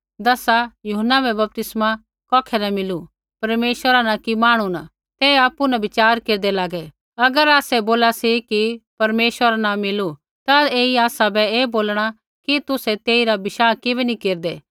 दसा यूहन्ना बै बपतिस्मा कौखै न मिलू परमेश्वरा न कि मांहणु न ते आपु न बिच़ार केरदै लागै अगर आसै बोला सी कि परमेश्वरा न मिलू तै ऐई आसा ऐ बोलणा कि तुसै तेइरा विश्वास किबै नी केरदै